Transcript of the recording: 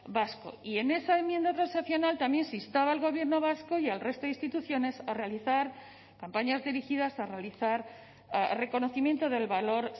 vasco y en esa enmienda transaccional también se instaba al gobierno vasco y al resto de instituciones a realizar campañas dirigidas a realizar reconocimiento del valor